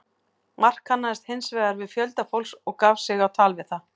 Mark kannaðist hins vegar við fjölda fólks og gaf sig á tal við það.